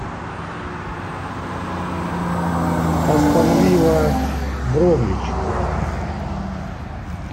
астон вилла бромвич